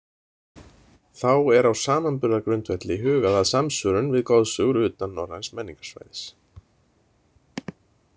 Þá er á samamburðargrundvelli hugað að samsvörun við goðsögur utan norræns menningarsvæðis.